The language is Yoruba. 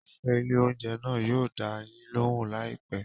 Òṣìṣẹ́ ilé oúnjẹ náà yóò dá a yín lóhùn láì pẹ̀ẹ́.